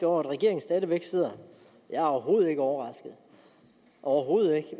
over at regeringen stadig væk sidder jeg er overhovedet ikke overrasket overhovedet ikke